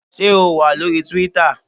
Ṣé o wà lóri Twíítà?